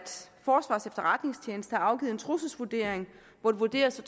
forsvarets efterretningstjeneste har afgivet en trusselsvurdering hvor det vurderes at